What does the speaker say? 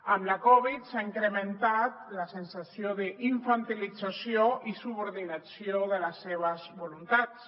amb la covid s’ha incrementat la sensació d’infantilització i subordinació de les seves voluntats